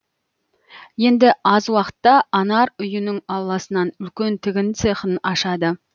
енді аз уақытта анар үйінің ауласынан үлкен тігін цехын ашады